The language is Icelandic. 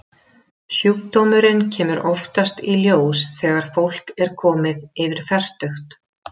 Sjúkdómurinn kemur oftast í ljós þegar fólk er komið yfir fertugt.